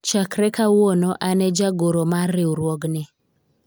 chakre kawuono an e jagoro mar riwruogni